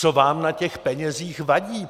Co vám na těch penězích vadí?